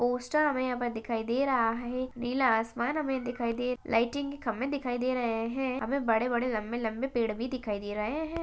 Poster हमे यहा पर दिखाई दे रहा है नीला आसमान हमे दिखाई दे लायटिंग की खंबे दिखाई दे रहे है हमे बड़े बड़े लंबे लंबे पेड़ भी दिखाई दे रहे है।